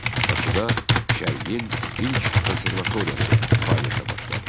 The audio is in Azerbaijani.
Bakıda Şərqin ilk konservatoriyası fəaliyyətə başladı.